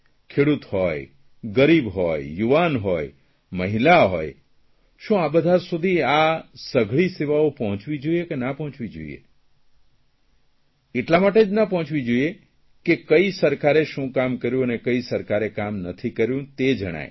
ખેડૂત હોય ગરીબ હોય યુવાન હોય મહિલા હોય શું આ બધા સુધી આ સઘળી સેવાઓ પહોંચવી જોઇએ કે ના પહોંચવી જોઇએ એટલા માટે જ ન પહોંચવી જોઇએ કે કે કઇ સરકારે શું કામ કર્યું અને કઇ સરકારે કામ નથી કર્યું તે જણાય